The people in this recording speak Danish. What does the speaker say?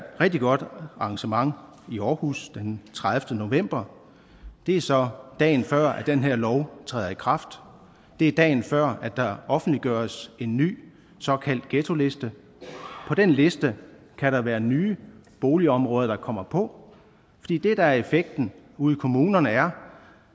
rigtig godt arrangement i aarhus den tredivete november det er så dagen før at den her lov træder i kraft det er dagen før at der offentliggøres en ny såkaldt ghettoliste på den liste kan der være nye boligområder der kommer på fordi det der er effekten ude i kommunerne er